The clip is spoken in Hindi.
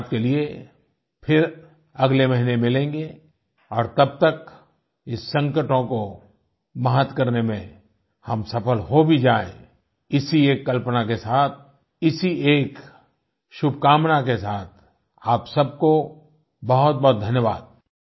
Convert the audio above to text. मन की बात के लिए फिर अगले महीने मिलेगें और तब तक इस संकटों को मात करने में हम सफल हो भी जाएँ इसी एक कल्पना के साथ इसी एक शुभकामना के साथ आप सबको बहुतबहुत धन्यवाद